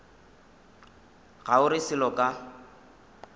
ga o re selo ka